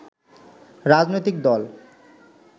রাজনৈতিক দল